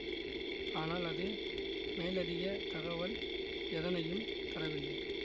ஆனால் அது மேலதிக தகவல் எதனையும் தரவில்லை